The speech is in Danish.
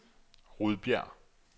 Rudbjerg